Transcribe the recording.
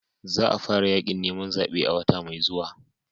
Za a fara yakin neman zabe a wata mai zuwa.